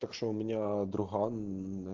так что у меня другаан